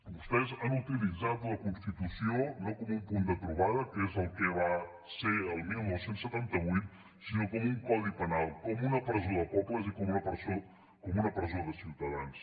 vostès han utilitzat la constitució no com un punt de trobada que és el que va ser el dinou setanta vuit sinó com un codi penal com una presó de pobles i com una presó de ciutadans